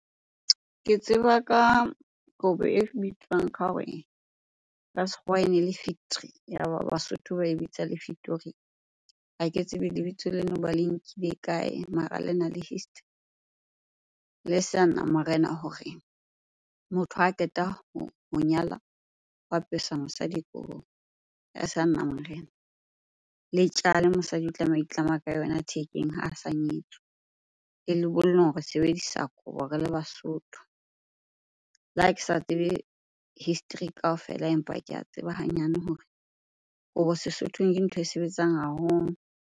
Ke tseba ka kobo e bitswang ka hore, ka sekgowa ene le . Ya ba Basotho ba e bitsa le . Ha ke tsebe lebitso ba le nkile kae? Mara lena le history. Le Seanamarena hore motho ha a qeta ho nyala, o apesa mosadi kobo ya seanamarena. Le tjale mosadi o tlameha ho itlama ka yona thekeng ha a sa nyetswe. Le lebollong re sebedisa kobo re le Basotho. Le ha ke sa tsebe history kaofela, empa ke a tseba hanyane hore kobo Sesothong ke ntho e sebetsang haholo.